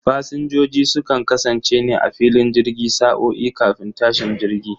Fasinjojin sukan kasance ne a filin jirgi sa'o'i kafin tashin jirgi